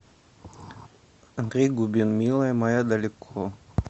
андрей губин милая моя далеко